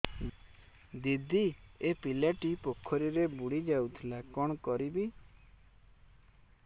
ଦିଦି ଏ ପିଲାଟି ପୋଖରୀରେ ବୁଡ଼ି ଯାଉଥିଲା କଣ କରିବି